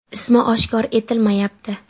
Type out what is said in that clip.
Ismi oshkor etilmayapti.